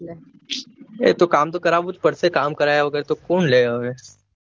એતો કામ તો કરવું જ પડશે કામ કરાયા વગર તો કોણ લે હવે